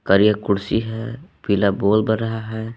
और एक कुर्सी है पीला बल्ब बर रहा है।